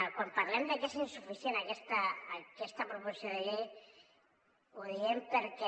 quan parlem de que és insuficient aquesta proposició de llei ho diem perquè